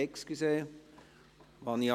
Entschuldigen Sie!